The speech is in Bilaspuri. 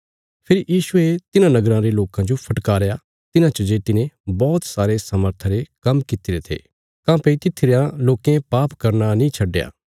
फेरी यीशुये तिन्हां नगराँ रे लोकां जो फटकारया तिन्हां च जे तिने बौहत सारे सामर्था रे काम्म कित्तिरे थे काँह्भई तित्थी रेआं लोकें पाप करना नीं छडया